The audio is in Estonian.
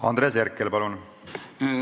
Andres Herkel, palun!